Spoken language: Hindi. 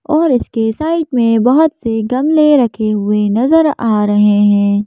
और इसके साइड में बहुत से गमले रखे हुए नजर आ रहे हैं।